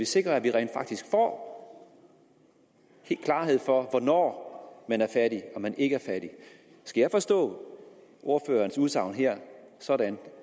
sikrer at vi rent faktisk får klarhed over hvornår man er fattig og hvornår man ikke er fattig skal jeg forstå ordførerens udsagn her sådan